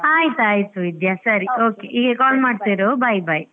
ಆಯ್ತ್ ಆಯ್ತ್ ವಿದ್ಯಾ ಸರಿ okay ಹೀಗೆ call ಮಾಡ್ತಾ ಇರು bye bye .